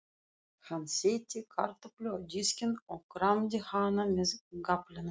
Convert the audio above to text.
Hann setti kartöflu á diskinn og kramdi hana með gafflinum.